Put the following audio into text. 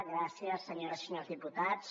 gràcies senyores i senyors diputats